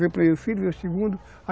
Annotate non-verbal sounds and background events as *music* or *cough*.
*unintelligible* segundo.